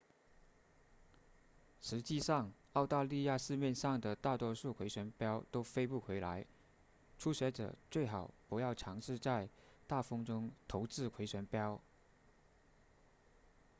实际上澳大利亚市面上的大多数回旋镖都飞不回来初学者最好不要尝试在大风中投掷回旋镖